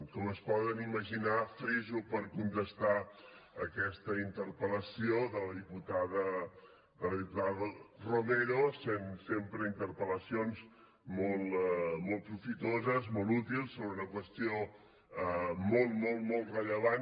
com es poden imaginar friso per contestar aquesta interpel·lació de la diputada romero sempre interpel·lacions molt profitoses molt útils sobre una qüestió molt molt molt rellevant